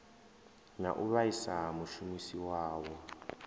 na u vhaisa mushumisi wawo